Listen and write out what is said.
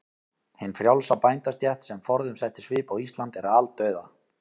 Hin frjálsa bændastétt, sem forðum setti svip á Ísland, er aldauða.